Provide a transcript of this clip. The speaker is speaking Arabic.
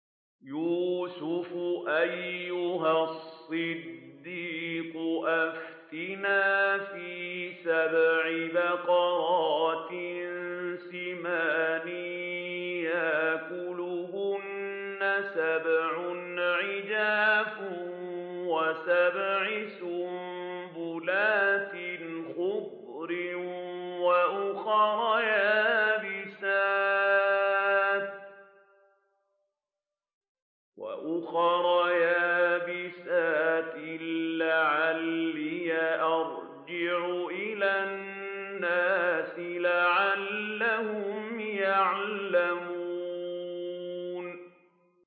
يُوسُفُ أَيُّهَا الصِّدِّيقُ أَفْتِنَا فِي سَبْعِ بَقَرَاتٍ سِمَانٍ يَأْكُلُهُنَّ سَبْعٌ عِجَافٌ وَسَبْعِ سُنبُلَاتٍ خُضْرٍ وَأُخَرَ يَابِسَاتٍ لَّعَلِّي أَرْجِعُ إِلَى النَّاسِ لَعَلَّهُمْ يَعْلَمُونَ